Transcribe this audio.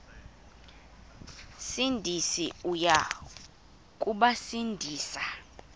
sindisi uya kubasindisa